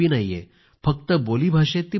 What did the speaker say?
फक्त बोलीभाषेत प्रचलित आहे